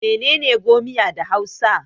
Mene ne 'gomiya' da hausa?